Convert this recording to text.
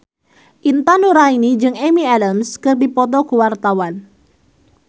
Intan Nuraini jeung Amy Adams keur dipoto ku wartawan